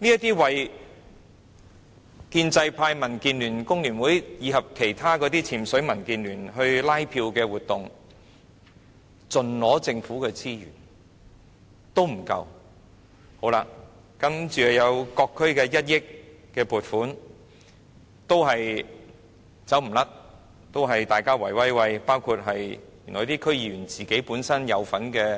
這些為建制派、民主建港協進聯盟、香港工會聯合會及其他"潛水"民建聯拉票的活動，盡取政府的資源，這還不夠，接着還有各區的1億元撥款也一樣，也是大家在"圍威喂"，包括有區議員參與